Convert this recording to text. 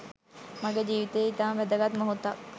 මගේ ජීවිතයේ ඉතාම වැදගත් මොහොතක්.